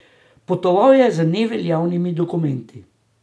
Potoval je z neveljavnimi dokumenti.